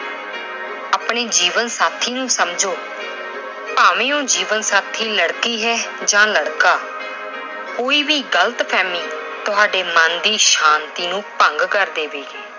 ਆਪਣੇ ਜੀਵਨ ਸਾਥੀ ਨੂੰ ਸਮਝੋ। ਭਾਵੇਂ ਉਹ ਜੀਵਨ ਸਾਥੀ ਲੜਕੀ ਹੈ ਜਾਂ ਲੜਕਾ। ਕੋਈ ਵੀ ਗਲਤ ਫਹਿਮੀ ਤੁਹਾਡੇ ਮਨ ਦੀ ਸ਼ਾਂਤੀ ਨੂੰ ਭੰਗ ਕਰ ਦੇਵੇਗੀ।